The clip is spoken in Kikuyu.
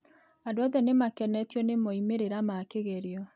Andũothe nĩmakenetio nĩ moimĩrĩro ma kĩgerio